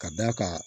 Ka d'a kan